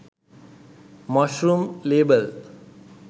mashroom lebal